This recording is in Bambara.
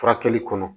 Furakɛli kɔnɔ